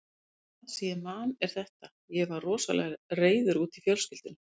Það sem ég man er þetta: Ég var rosalega reiður út í fjölskylduna.